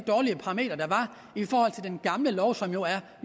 den gamle lov som jo